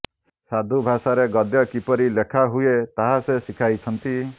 ସାଧୁ ଭାଷାରେ ଗଦ୍ୟ କିପରି ଲେଖା ହୁଏ ତାହା ସେ ଶିଖାଇଛନ୍ତି